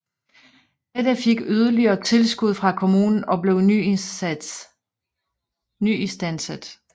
Dette fik yderligere tilskud fra kommunen og blev nyistandsat